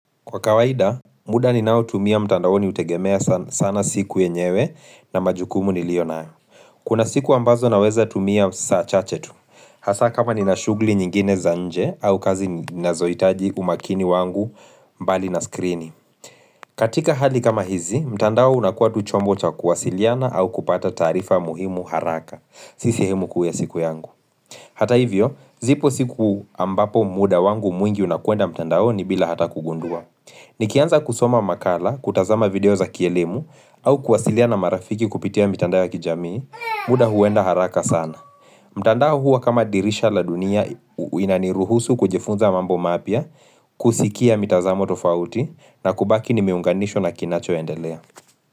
Kwa kawaida, muda ni nao tumia mtandao ni utegemea sana siku yenyewe na majukumu nilio naa. Kuna siku ambazo naweza tumia saa chache tu. Hasa kama ni na shugli nyingine za nje au kazi nazoitaji umakini wangu mbali na skrini. Katika hali kama hizi, mtandao unakuwa tu chombo cha kuwasiliana au kupata taarifa muhimu haraka. Si sehemu kuu ya siku yangu. Hata hivyo, zipo siku ambapo muda wangu mwingi unakuenda mtandao ni bila hata kugundua. Nikianza kusoma makala, kutazama video za kielemu au kuwasilia na marafiki kupitia mitanda ya kijamii, muda huwenda haraka sana. Mtandao huwa kama dirisha la dunia inaniruhusu kujifunza mambo mapya, kusikia mitazamo tofauti na kubaki ni miunganisho na kinachoendelea.